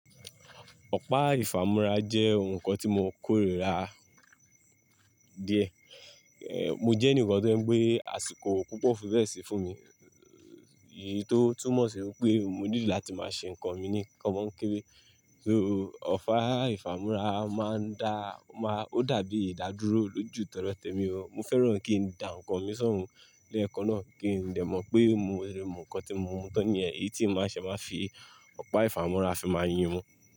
Ọ̀pá ìfàmúrá jẹ́ ohun kan tí mo kórìíra díẹ̀. Mo jẹ́ ẹnìkan tó je pé àsìkò púpọ̀ o fi béẹ̀ sí fún mi. Èyí tó túmọ̀ sí wípé mo nílò láti máa ṣe ǹkan mi ní kómọńkébe. So, ọ̀pá ìfàmúrá máa ń da, ó dàbí ìdádúró lójúù tọdọ témi o, mo fẹ́ràn kí n dá ǹkan mi ṣọ̀ún lẹ̀ẹ̀kan náà kí n lè mọ̀ pé mo mu ǹkan tí mo mú tán nìyẹn, èyí tí máa ń ṣe máa fi ọ̀pá ìfàmúrá fi máa yín mu.